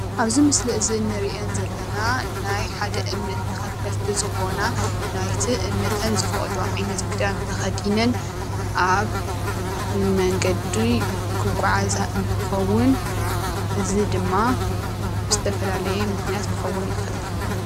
ኣብዚ ምስሊ እዚ እንርኤን ዘለና ናይ ሓደ እምነት ተኸተልቲ ዝኾና ናይቲ እምነተን ዝፈቕዶ ዓይነት ክዳን ተከዲነን ኣብ መንገዲ ክጉዓዛ እንትኸዉን፤ እዚ ድማ ብዝተፈላለየ ምኽንያት ክኸዉን ይኽእል።